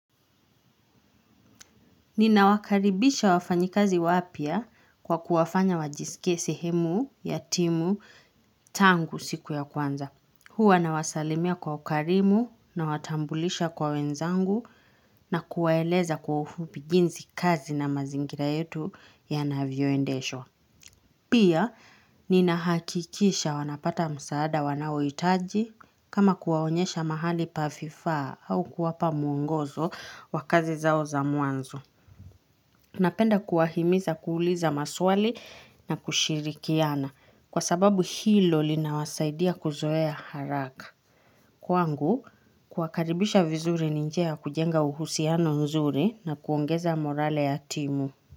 Nina wakaribisha wafanyikazi wapya kwa kuwafanya wajisike sehemu, ya timu, tangu siku ya kwanza. Huwa na wasalimia kwa ukarimu nawatambulisha kwa wenzangu na kuwaeleza kwa ufupi jinsi kazi na mazingira yetu yanavyoendeshwa. Pia, nina hakikisha wanapata msaada wanaohitaji kama kuwaonyesha mahali pa vifaa au kuwapa mwongozo wa kazi zao za mwanzo. Napenda kuwahimiza kuuliza maswali na kushirikiana kwa sababu hilo linawasaidia kuzoea haraka. Kwangu, kuwakaribisha vizuri ni njia ya kujenga uhusiano mzuri na kuongeza morale ya timu.